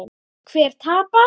Hver tapar?